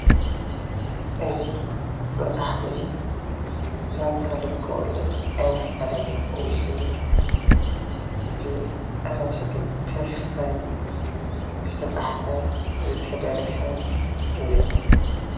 እዚ መፅሓፍ እዚ ዛንታ ልበወለድ ኣይንፈላለ ዝብል ብኣለም ሰገድ ተስፋይ ዝተፃሓፈን ዝተደረሰን እዩ፡፡